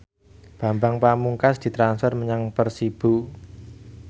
Bambang Pamungkas ditransfer menyang Persibo